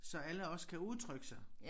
Så alle også kan udtrykke sig